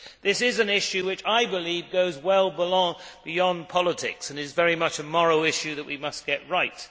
This is an issue which I believe goes well beyond politics and is very much a moral issue that we must get right.